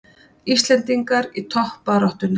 Íslendingar í toppbaráttunni